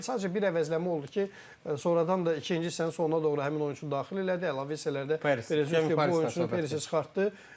Sadəcə bir əvəzləmə oldu ki, sonradan da ikinci hissənin sonuna doğru həmin oyunçunu daxil elədi, əlavə hissələrdə bilirsiz ki, bu oyunçunu perasi çıxartdı.